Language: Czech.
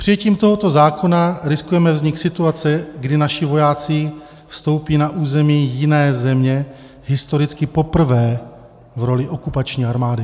Přijetím tohoto zákona riskujeme vznik situace, kdy naši vojáci vstoupí na území jiné země historicky poprvé v roli okupační armády.